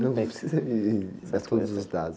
Não, nem precisa de, dar todos os dados.